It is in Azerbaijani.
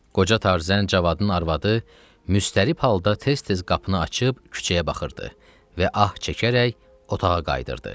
Qoca Tarzən Cavadın arvadı müştərib halda tez-tez qapını açıb küçəyə baxırdı və ah çəkərək otağa qayıdırdı.